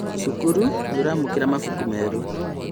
Cukuru nĩũramũkĩra mabuku merũ